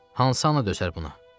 Hansı ana döşər buna?